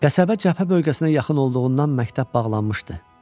Qəsəbə cəbhə bölgəsinə yaxın olduğundan məktəb bağlanmışdı.